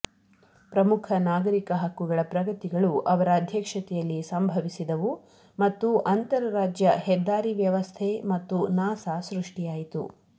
ಪ್ರಮುಖ ನಾಗರಿಕ ಹಕ್ಕುಗಳ ಪ್ರಗತಿಗಳು ಅವರ ಅಧ್ಯಕ್ಷತೆಯಲ್ಲಿ ಸಂಭವಿಸಿದವು ಮತ್ತು ಅಂತರರಾಜ್ಯ ಹೆದ್ದಾರಿ ವ್ಯವಸ್ಥೆ ಮತ್ತು ನಾಸಾ ಸೃಷ್ಟಿಯಾಯಿತು